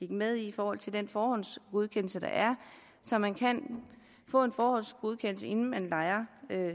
med i forhold til den forhåndsgodkendelse der er så man kan få en forhåndsgodkendelse inden man lejer